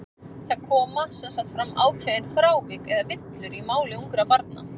Það koma sem sagt fram ákveðin frávik, eða villur, í máli ungra barna.